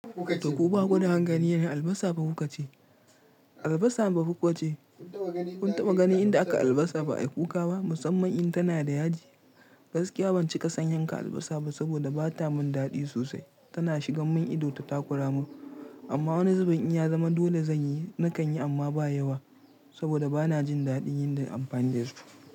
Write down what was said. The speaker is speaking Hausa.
To ku bakuda hankaline? Albasa fa kuka ce? Albasa ba kuka ce. Kun taɓa ganin inda akai albasa ba ai kuka ba? Musamman in tana da yaji. Gaskiya ban cika san yanka albasa ba saboda ba ta mun daɗi sosai. Tana shigan mun ido ta takura mun. Amma wani zuben in ya zama dole zan yi, na kan yi amma ba yawa. Saboda bana jin daɗin yin da amfanin dasu.